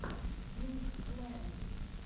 пинкфлэм